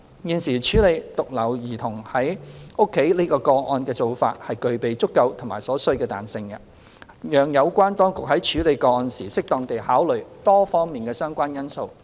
現時處理獨留兒童在家個案的做法具備足夠和所需的彈性，讓有關當局在處理個案時適當地考慮多方面的相關因素。